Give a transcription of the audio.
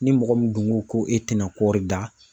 Ni mɔgɔ min dun ko ko e tɛna kɔɔri dan.